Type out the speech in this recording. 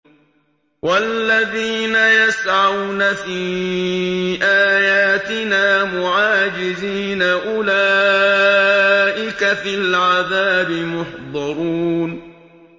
وَالَّذِينَ يَسْعَوْنَ فِي آيَاتِنَا مُعَاجِزِينَ أُولَٰئِكَ فِي الْعَذَابِ مُحْضَرُونَ